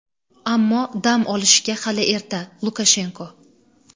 ammo dam olishga hali erta – Lukashenko.